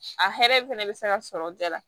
A hɛrɛ fɛnɛ bɛ se ka sɔrɔ bɛɛ la